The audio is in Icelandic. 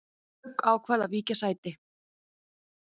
Dögg ákvað að víkja sæti